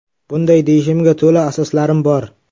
Bunday deyishimga to‘la asoslarim bor.